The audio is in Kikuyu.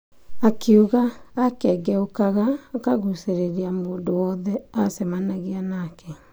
Akiuga akengeukaga akagucĩrĩria mũndũ wothe acemanagia nake.